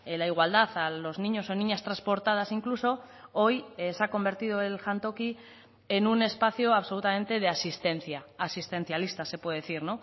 la igualdad a los niños o niñas transportadas incluso hoy se ha convertido el jantoki en un espacio absolutamente de asistencia asistencialista se puede decir